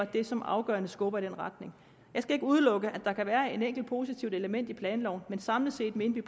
det som afgørende skubber i den retning jeg skal ikke udelukke at der kan være et enkelt positivt element i planloven men samlet set mener vi